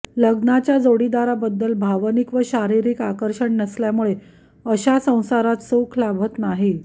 लग्नाच्या जोडीदाराबद्दल भावनिक व शारीरिक आकर्षण नसल्यामुळे अशा संसारात सुख लाभत नाही